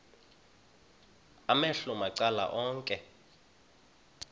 amehlo macala onke